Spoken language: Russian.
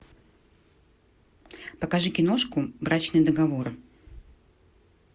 покажи киношку брачный договор